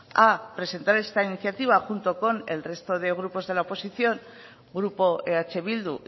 a presentar esta iniciativa junto con el resto de los grupos de la oposición grupo eh bildu